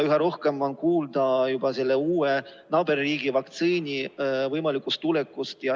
Üha rohkem on kuulda juba selle uue, naaberriigi vaktsiini võimalikust tulekust.